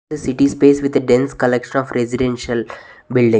The city space with a dense collection of residential building.